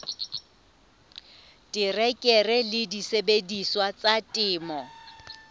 terekere le disebediswa tsa temo